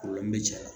bɛ cɛ